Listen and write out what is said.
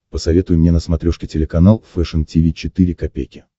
посоветуй мне на смотрешке телеканал фэшн ти ви четыре ка